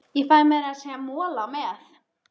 Ég fæ meira að segja mola með.